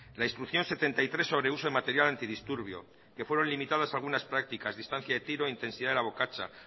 la instrucción setenta y tres sobre uso de material antidisturbio que fueron limitadas algunas prácticas distancia de tiro intensidad de la bocacha